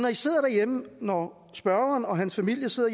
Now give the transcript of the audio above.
når spørgeren og hans familie sidder